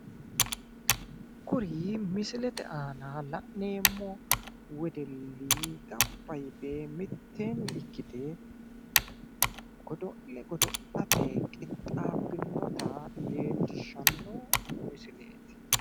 Kuri misilete aana la'neemmo wedelli gamba yite mitteenni ikkite godo'le godo'late qixxaabbinota leellishanno mosileeti